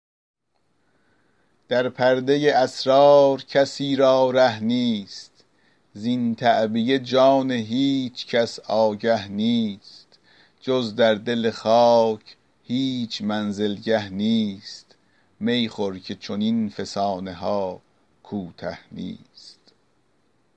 در پردۀ اسرار کسی را ره نیست زین تعبیه جان هیچ کس آگه نیست جز در دل خاک هیچ منزلگه نیست می خور که چنین فسانه ها کوته نیست